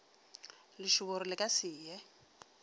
lešoboro le ka se ye